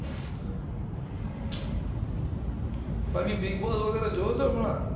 બાકી bigboss વૅગેરા જોવો છો હમણાં